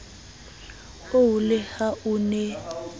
oo le ha a ne